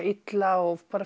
illa og